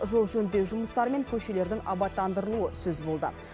жол жөндеу жұмыстары мен көшелердің абаттандырылуы сөз болды